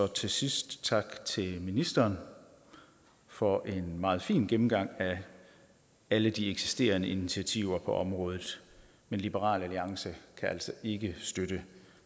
til sidst tak til ministeren for en meget fin gennemgang af alle de eksisterende initiativer på området men liberal alliance kan altså ikke støtte